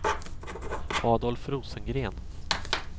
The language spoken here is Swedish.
Adolf Rosengren